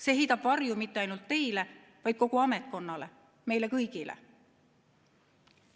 See ei heida varju mitte ainult teile, vaid heidab varju kogu ametkonnale, meile kõigile.